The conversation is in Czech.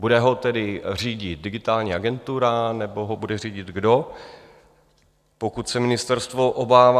Bude ho tedy řídit Digitální agentura, nebo ho bude řídit kdo, pokud se ministerstvo obává?